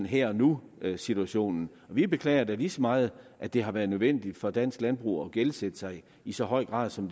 her og nu situation vi beklager da lige så meget at det har været nødvendigt for dansk landbrug at gældsætte sig i så høj grad som